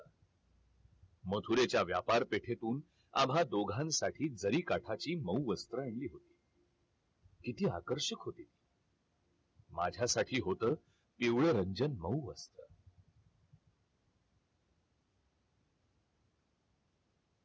मथुरेच्या व्यापार पेठेतून आम्हा दोघांसाठी जरीकाठाची मऊ वस्त्रही आणली होती किती आकर्षक होत माझ्यासाठी होत पिवळरंजन मऊ वर्ण